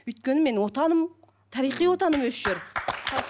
өйткені менің отаным тарихи отаным осы жер